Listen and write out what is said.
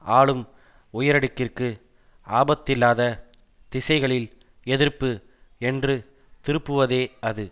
ஆளும் உயரடுக்கிற்கு ஆபத்தில்லாத திசைகளில் எதிர்ப்பு என்று திருப்புவதே அது